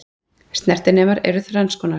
Snertinemar eru þrenns konar.